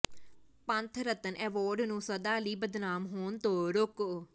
ਪੰਥ Ratan award ਨੂੰ ਸਦਾ ਲਈ ਬਦਨਾਮ ਹੋਣ ਤੋਂ ਰੋਕੋ